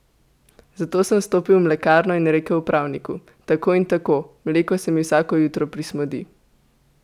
Zato sem stopil v mlekarno in rekel upravniku: "Tako in tako, mleko se mi vsako jutro prismodi.